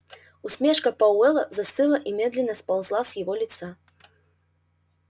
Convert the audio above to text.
усмешка пауэлла застыла и медленно сползла с его лица